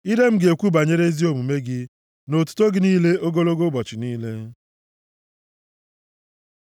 Ire m ga-ekwu banyere ezi omume gị na otuto gị niile ogologo ụbọchị niile.